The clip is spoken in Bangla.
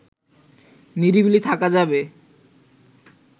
নিরিবিলি থাকা যাবে